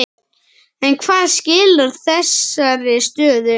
En hvað skilar þessari stöðu?